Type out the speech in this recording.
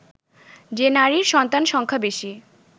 যে নারীর সন্তান সংখ্যা বেশি